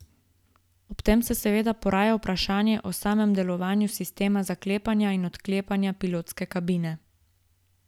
Ob tem se seveda poraja vprašanje o samem delovanju sistema zaklepanja in odklepanja pilotske kabine.